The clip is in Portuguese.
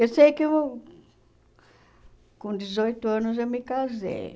Eu sei que uh com dezoito anos eu me casei.